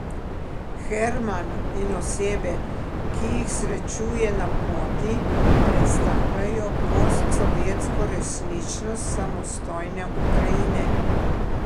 Herman in osebe, ki jih srečuje na poti, predstavljajo postsovjetsko resničnost samostojne Ukrajine.